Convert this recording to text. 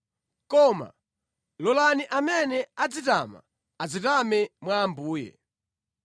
Koma, “Ngati munthu akufuna kunyadira, anyadire mwa Ambuye.”